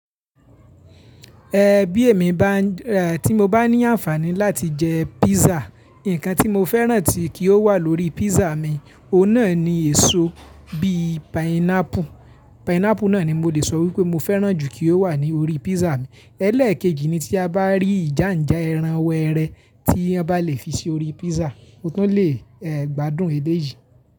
Ẹ̀ bí èmi bá ń rà, tí mo bá ní àǹfààní láti jẹ písà, nǹkan tí mo fẹ́ràn tí kí ó wà lórí písà mi, ó náà ni èso bíì painapu. Painapu náà ni mo lè sọ wípé mo fẹ́ràn jù kí ó wà ní orí písà mi. Ẹlẹ́ẹ̀kejì ni tí a bá rí ìjánjà ẹran wẹrẹ tí a bá lè fi sí orí písà, mo tún lè gbádùn eléyìí.